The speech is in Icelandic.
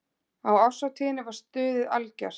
Á árshátíðinni var stuðið algjört.